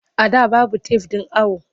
A da babu tef ɗin awo.